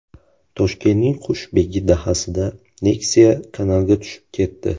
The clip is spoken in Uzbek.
Toshkentning Qushbegi dahasida Nexia kanalga tushib ketdi .